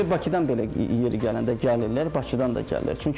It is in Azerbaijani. Bizə Bakıdan belə yeri gələndə gəlirlər, Bakıdan da gəlirlər.